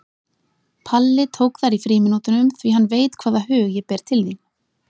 Palli tók þær í frímínútunum því hann veit hvaða hug ég ber til þín.